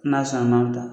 N'a sɔnna ma